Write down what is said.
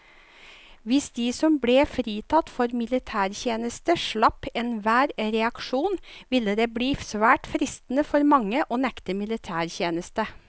Hvis de som ble fritatt for militærtjeneste slapp enhver reaksjon, ville det bli svært fristende for mange å nekte militætjeneste.